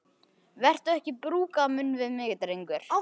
Vertu ekki að brúka munn við mig, drengur!